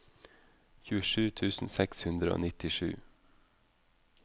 tjuesju tusen seks hundre og nittisju